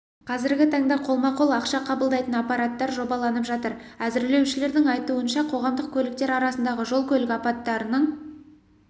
қазіргі таңда қолма-қол ақша қабылдайтын аппараттар жобаланып жатыр әзірлеушілердің айтуынша қоғамдық көліктер арасындағы жол-көлік апаттарының